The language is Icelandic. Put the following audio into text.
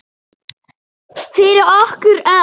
Fyrir okkur öll.